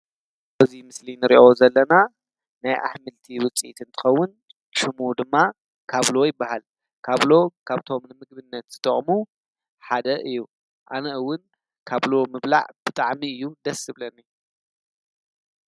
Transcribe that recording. ኣትክልትን ኣሕምልትን ንሰውነት ጠቓሚ መግቢ እዮም። ቫይታሚን፣ ሚነራልን ፋይበርን ይሃቡ። ጥዕና ንምሕባርን ሕማም ንምክልኻልን ይሕግዙ።